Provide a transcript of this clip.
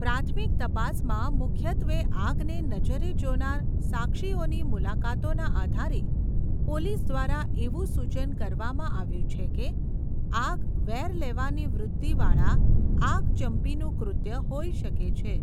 પ્રાથમિક તપાસમાં મુખ્યત્વે આગને નજરે જોનાર સાક્ષીઓની મુલાકાતોના આધારે, પોલીસ દ્વારા એવું સૂચન કરવામાં આવ્યું છે કે આગ વેર લેવાની વૃત્તિવાળા આગચંપીનું કૃત્ય હોઈ શકે છે.